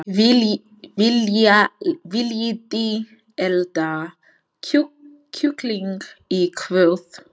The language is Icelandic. Viljiði elda kjúkling í kvöld?